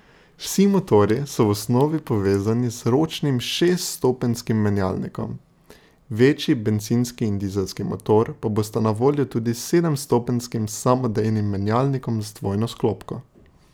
Vsi motorji so v osnovi povezani z ročnim šeststopenjskim menjalnikom, večji bencinski in dizelski motor pa bosta na voljo tudi s sedemstopenjskim samodejnim menjalnikom z dvojno sklopko.